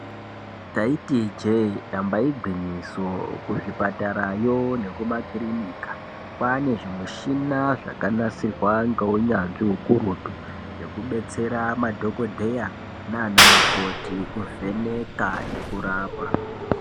Taiti ijee damba igwinyiso kuzvipatarayo nekumakiriki kwane zvimushina zvakanasirwa ngeunyanzvi ukurutu zvekudetsera madhokoteya nanamukoti kuvheneka nekurapa.